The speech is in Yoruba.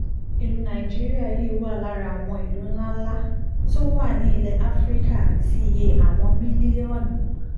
ìlú nàìjíríà yìí wà lára àwọn ìlú ńláńlá tó tó wà nílẹ̀ áfíríkà tí iye àwọn mílíọ̀nù